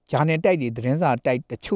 ဂျာနယ်တိုက်အချို့နဲ့ သတင်းစာတိုက်အချိ